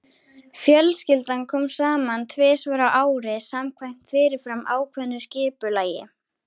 Fjölskyldan kom saman tvisvar á ári samkvæmt fyrirfram ákveðnu skipulagi.